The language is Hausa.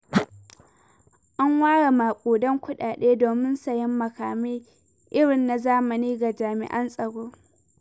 An ware maƙudan kuɗaɗe domin sayen makamai irin nazamani ga jami'an tsaro.